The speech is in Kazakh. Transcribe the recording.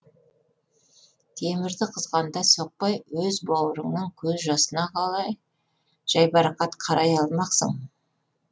темірді қызғанда соқпай өз бауырыңның көз жасына қалай жайбарақат қарай алмақсың